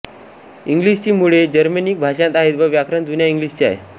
इंग्लिशची मुळे जर्मेनिक भाषांत आहे व व्याकरण जुन्या इंग्लिशचे आहे